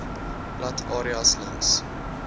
plat areas langs